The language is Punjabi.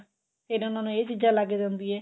ਫੇਰ ਉਹਨਾ ਨੂੰ ਇਹ ਚੀਜਾਂ ਲੱਗ ਜਾਂਦੀਆ